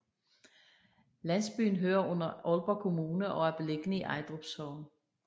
Landsbyen hører under Aalborg Kommune og er beliggende i Ejdrup Sogn